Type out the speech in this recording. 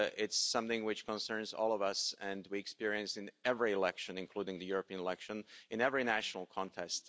it's something which concerns all of us and which we experienced in every election, including the European election in every national contest.